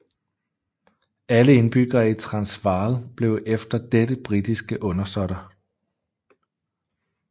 Alle indbyggere i Transvaal blev efter dette britiske undersåtter